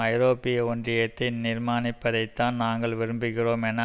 ஐரோப்பிய ஒன்றியத்தை நிர்மாணிப்பதைத்தான் நாங்கள் விரும்புகிறோம் என